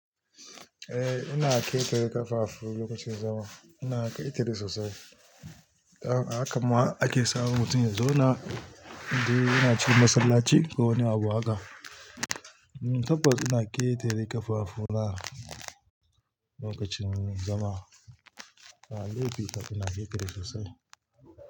Eh, ina ƙetare ƙafafu lokacin zama. Ina ƙetare sosai. Haka ma ake sa mutum ya zauna. Inde yana cin masallaci ko wani abu haka. Hm, tabbas ina ƙetare ƙafafuna lokacin zama. Na dauki ta ina ƙetare sosai.